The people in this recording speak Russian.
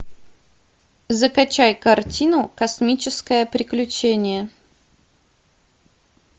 закачай картину космическое приключение